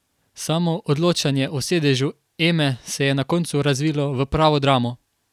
Samo odločanje o sedežu Eme se je na koncu razvilo v pravo dramo.